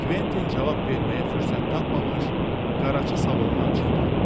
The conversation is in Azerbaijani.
Kventin cavab verməyə fürsət tapmamış, Qaraçı salondan çıxdı.